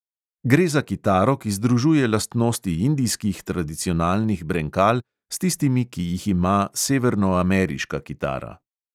Gre za kitaro, ki združuje lastnosti indijskih tradicionalnih brenkal s tistimi, ki jih ima severnoameriška kitara.